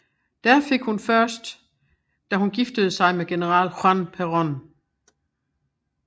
Den fik hun først da hun giftede sig med General Juan Perón